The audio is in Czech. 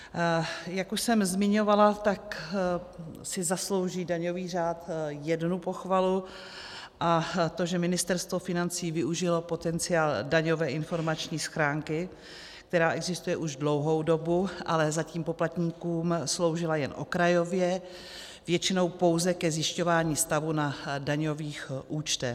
Jak už jsem zmiňovala, tak si zaslouží daňový řád jednu pochvalu, a to že Ministerstvo financí využilo potenciál daňové informační schránky, která existuje už dlouhou dobu, ale zatím poplatníkům sloužila jen okrajově, většinou pouze ke zjišťování stavu na daňových účtech.